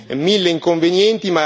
mille inconvenienti.